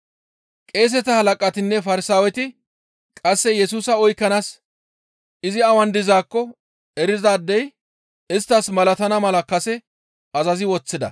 Qeeseta halaqatinne Farsaaweti qasse Yesusa oykkanaas izi awan dizaakko erizaadey isttas malatana mala kase azazi woththida.